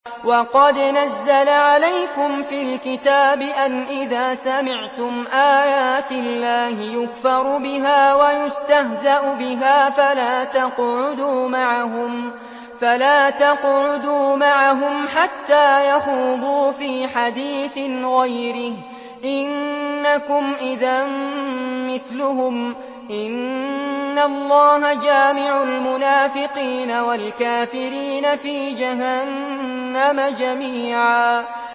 وَقَدْ نَزَّلَ عَلَيْكُمْ فِي الْكِتَابِ أَنْ إِذَا سَمِعْتُمْ آيَاتِ اللَّهِ يُكْفَرُ بِهَا وَيُسْتَهْزَأُ بِهَا فَلَا تَقْعُدُوا مَعَهُمْ حَتَّىٰ يَخُوضُوا فِي حَدِيثٍ غَيْرِهِ ۚ إِنَّكُمْ إِذًا مِّثْلُهُمْ ۗ إِنَّ اللَّهَ جَامِعُ الْمُنَافِقِينَ وَالْكَافِرِينَ فِي جَهَنَّمَ جَمِيعًا